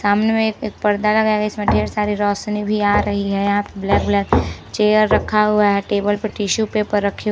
सामने में एक एक पर्दा लगा हुआ है इसमें ढेर सारी रोशनी है यहाँ पे ब्लैक ब्लैक चेयर रखा हुआ है टेबल पर टिश्यू पेपर रखे हुए--